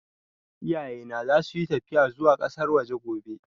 Iyaye na za su yi tafiya zuwa ƙasar waje gobe